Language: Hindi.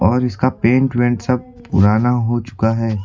और इसका पेंट वेंट सब पुराना हो चुका है।